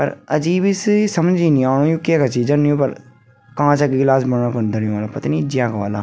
अर अजीब सी समजी नी ओणु यु केका छी जन यु फर कांच क गिलास बनन कुन धर्यु वलापतनी ज्यांका वाला।